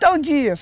Tal dia.